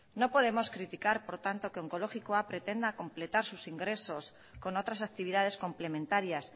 no podemos criticar por tanto que onkologikoa pretenda completar sus ingresos con otras actividades complementarias